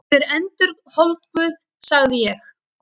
Hún er endurholdguð, sagði ég.